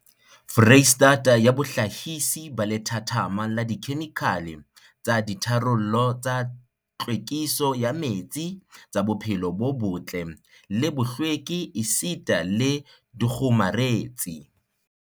Freistata ya bohlahisi ba lethathama la dikhemikhale tsa ditharollo tsa tlhwekiso ya metsi, tsa bophelo bo botle le bohlweki esita le dikgomaretsi.